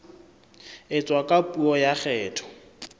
etswa ka puo ya kgetho